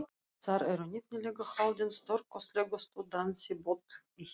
Þar eru nefnilega haldin stórkostlegustu dansiböll í heimi.